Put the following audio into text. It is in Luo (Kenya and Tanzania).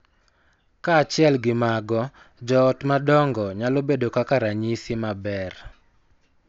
Kaachiel gi mago, jo ot madongo nyalo bedo kaka ranyisi maber,